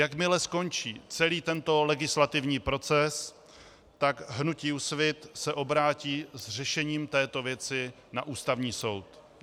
Jakmile skončí celý tento legislativní proces, tak hnutí Úsvit se obrátí s řešením této věci na Ústavní soud.